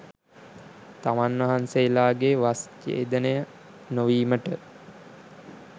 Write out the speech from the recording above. තමන් වහන්සේලාගේ වස් ජේදනය නොවීමට